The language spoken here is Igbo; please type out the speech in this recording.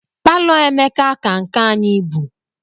Palo Emeka ka nke anyị ibu.